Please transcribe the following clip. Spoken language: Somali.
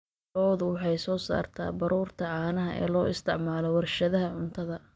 Lo'du waxay soo saartaa baruurta caanaha ee loo isticmaalo warshadaha cuntada.